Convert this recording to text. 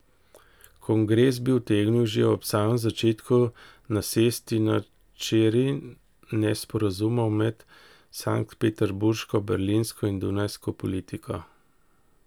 Kongres bi utegnil že ob samem začetku nasesti na čeri nesporazumov med sanktpeterburško, berlinsko in dunajsko politiko ...